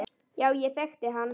Já, ég þekkti hann.